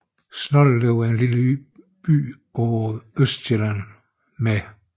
Snoldelev er en lille by på Østsjælland med